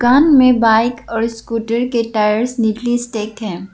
अन्य बाइक और स्कूटर के टायर्स निकली स्टेक है।